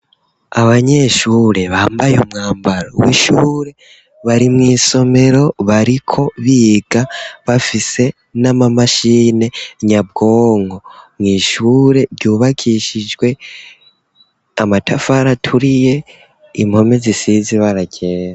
Abanyeshure bambaye umwambaro w'ishure bari mu isomero bariko biga bafise n'amamashine nyabwongo. Mwishure ryubakishijwe amatafara turiye impome zisize ibara ryera.